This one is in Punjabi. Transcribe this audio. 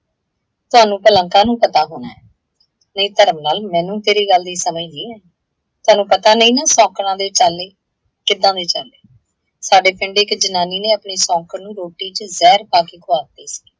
ਤੁਹਾਨੂੰ ਭਲਾਂ ਕਾਹਨੂੰ ਪਤਾ ਹੋਣਾ ਹੈ। ਨਹੀਂ ਧਰਮ ਨਾਲ ਮੈਨੂੰ ਤੇਰੀ ਗੱਲ ਦੀ ਸਮਝ ਨਹੀਂ ਆਈ। ਤੁਹਾਨੂੰ ਪਤਾ ਨਹੀਂ ਨਾ ਸੌਂਕਣਾ ਦੇ ਚਾਲੇ। ਕਿੱਦਾਂ ਦੇ ਚਾਲੇ? ਸਾਡੇ ਪਿੰਡ ਇੱਕ ਜਨਾਨੀ ਨੇ ਆਪਣੀ ਸੌਂਕਣ ਨੂੰ ਰੋਟੀ ਚ ਜ਼ਹਿਰ ਪਾ ਕੇ ਖੁਆਤੀ ਸੀ।